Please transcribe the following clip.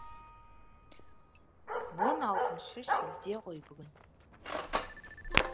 он алтыншы шілде ғой бүгін